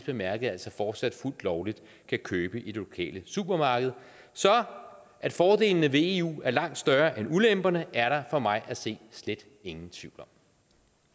bemærket altså fortsat fuldt lovligt kan købe i det lokale supermarked så at fordelene ved eu er langt større end ulemperne er der for mig at se slet ingen tvivl